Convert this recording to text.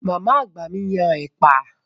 Màmá àgbà mi yan ẹ̀pà.